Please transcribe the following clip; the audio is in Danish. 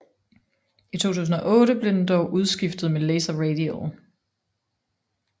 I 2008 blev den dog udskiftet med Laser Radial